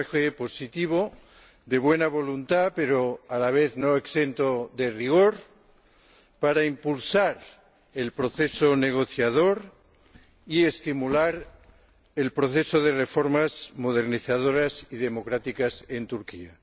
Un mensaje positivo, de buena voluntad, pero a la vez no exento de rigor, para impulsar el proceso negociador y estimular el proceso de reformas modernizadoras y democráticas en Turquía.